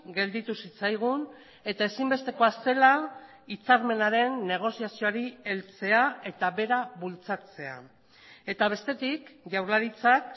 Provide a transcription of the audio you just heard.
gelditu zitzaigun eta ezinbestekoa zela hitzarmenaren negoziazioari heltzea eta bera bultzatzea eta bestetik jaurlaritzak